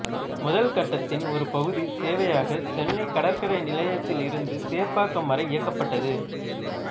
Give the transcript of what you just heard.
முதல் கட்டத்தின் ஒரு பகுதி சேவையாக சென்னை கடற்கரை நிலையத்தில் இருந்து சேப்பாக்கம் வரை இயக்கப்பட்டது